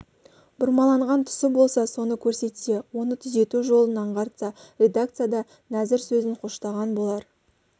бұрмаланған тұсы болса соны көрсетсе оны түзету жолын аңғартса редакция да нәзір сөзін қоштаған болар